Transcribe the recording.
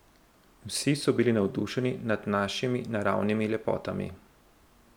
Vsi so bili navdušeni nad našimi naravnimi lepotami.